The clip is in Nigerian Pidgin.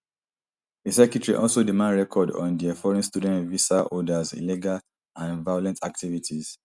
di secretary also demand records on dia foreign student visa holders illegal and violent activities